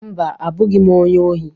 Mba, abụghị m onye ohi.